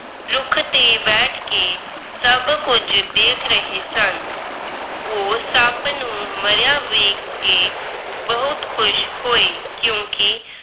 ਰੁੱਖ ਤੇ ਬੈਠ ਕੇ ਸਭ ਕੁਝ ਦੇਖ ਰਹੇ ਸਨ। ਉਹ ਸੱਪ ਨੂੰ ਮਰਿਆ ਵੇਖ ਕੇ ਬਹੁਤ ਖੁਸ਼ ਹੋਏ ਕਿਉਂਕਿ